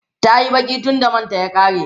tayi Baki tunda manta ya ƙare